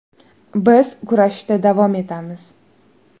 Biz kurashishda davom etamiz.